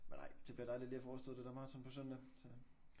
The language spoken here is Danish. Men nej det bliver dejligt lige at få overstået det der maraton på søndag så